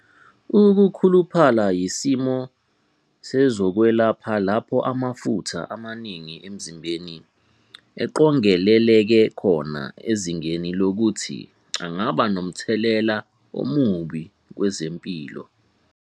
Ukukhuluphala yisimo sezokwelapha lapho amafutha amaningi emzimbeni eqongeleleke khona ezingeni lokuthi angaba nomthelela omubi kwezempilo.